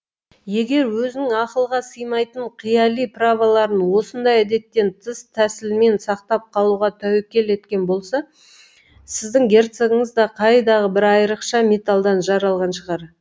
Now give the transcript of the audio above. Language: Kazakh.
егер өзінің ақылға сыймайтын қияли праволарын осындай әдеттен тыс тәсілмен сақтап қалуға тәуекел еткен болса сіздің герцогыңыз да қайдағы бір айрықша металдан жаралған шығар